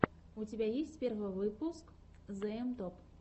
у тебя есть первый выпуск зээм топ